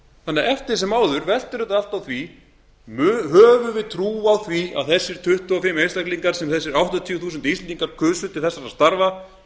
þannig að eftir sem áður veltur þetta allt á því hvort við höfum trú á því að þessir tuttugu og fimm einstaklingar sem þessir áttatíu þúsund íslendingar kusu til þessara starfa